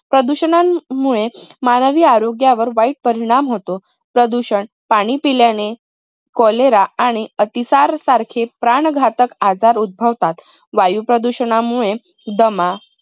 प्रदूषणामुळे मानवी आरोग्यावर वाईट परिणाम होतो. प्रदूषण पाणी पिल्याने Cholera आणि अतिसार सारखे प्राणघातक आजार उत्भवतात. वायू प्रदूषणमुळे दमा